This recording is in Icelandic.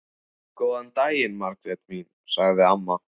Góðan daginn, Margrét mín sagði amma.